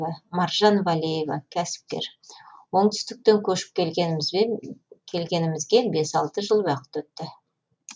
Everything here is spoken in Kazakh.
маржан валеева кәсіпкер оңтүстіктен көшіп келгенімізге бес алты жыл уақыт өтті